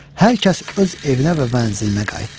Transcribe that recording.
Hər kəs öz evinə və mənzilinə qayıtdı.